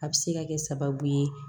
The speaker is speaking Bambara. A bɛ se ka kɛ sababu ye